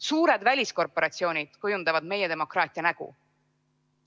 Suured väliskorporatsioonid kujundavad meie demokraatia nägu.